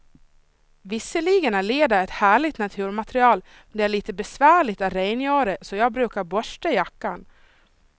Visserligen är läder ett härligt naturmaterial, men det är lite besvärligt att rengöra, så jag brukar borsta jackan.